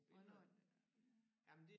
Hvornår er